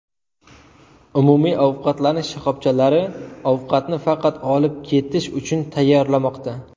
Umumiy ovqatlanish shoxobchalari ovqatni faqat olib ketish uchun tayyorlamoqda.